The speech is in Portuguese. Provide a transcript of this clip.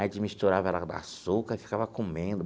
Aí a gente misturava ela com açúcar e ficava comendo.